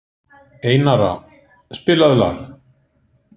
Einara, spilaðu lag.